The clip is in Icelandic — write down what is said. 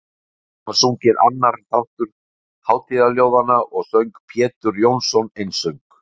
Síðan var sunginn annar þáttur hátíðarljóðanna og söng Pjetur Jónsson einsöng.